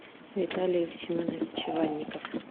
виталий семенович иванников